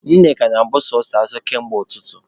Nneka na-abụ sọsọ asọ kamgbe ụtụtụ.